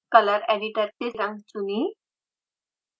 color editor से रंग चुनें